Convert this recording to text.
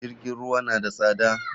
JIrgin ruwa na da tsada.